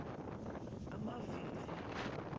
amavivi